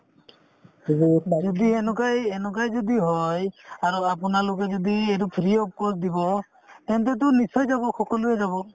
যদি এনেকুৱাই এনেকুৱাই যদি হয় আৰু আপোনালোকে যদি এইটো free of cost দিব তেন্তেতো নিশ্চয় যাব সকলোয়ে যাব